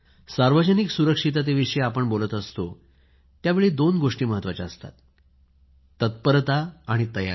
सार्वजनिक सुरक्षितते विषयी आपण बोलत असतो त्यावेळी दोन गोष्टी महत्वाच्या असतात तत्परता आणि तयारी